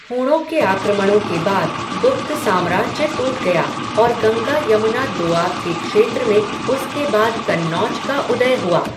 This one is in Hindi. हूणों के आक्रमणों के बाद गुप्त साम्राज्य टूट गया और गंगा यमुना दोआब के क्षेत्र में उसके बाद कन्नौज का उदय हुआ।